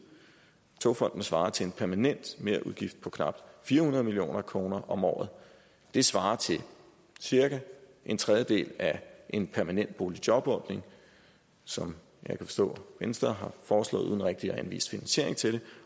togfonden dk svarer til en permanent merudgift på knap fire hundrede million kroner om året det svarer til cirka en tredjedel af en permanent boligjobordning som jeg kan forstå venstre har foreslået uden rigtig at anvise finansiering til det